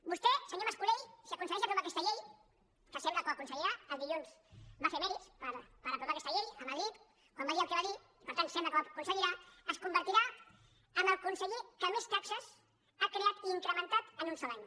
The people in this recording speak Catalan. vostè senyor mas colell si aconsegueix aprovar aquesta llei que sembla que ho aconseguirà el dilluns va fer mèrits per aprovar aquesta llei a madrid quan va dir el que va dir i per tant sembla que ho aconseguirà es convertirà en el conseller que més taxes ha creat i ha incrementat en un sol any